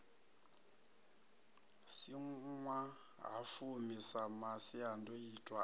si ṅwahafumi sa masiandoitwa a